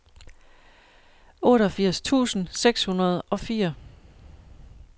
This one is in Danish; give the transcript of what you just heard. otteogfirs tusind seks hundrede og fire